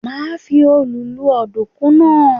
Màá fi òòlù rún ọ̀dùnkún náà.